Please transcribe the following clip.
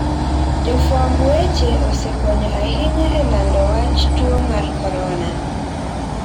Jofwamb weche osekonyo ahinya e lando wach tuo mar corona.